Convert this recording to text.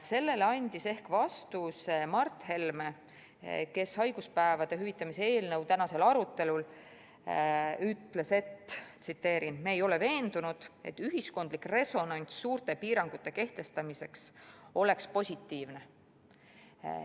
Sellele andis ehk vastuse Mart Helme, kes haiguspäevade hüvitamise eelnõu tänasel arutelul ütles, et nad ei ole veendunud, et ühiskondlik resonants suurte piirangute kehtestamiseks oleks positiivne.